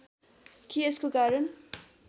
कि यसको कारण